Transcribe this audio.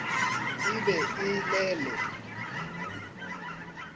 e be e le le